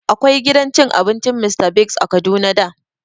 Akwai gidan cin abincin Mr Biggs a Kaduna da